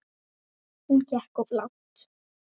Hún gekk of langt.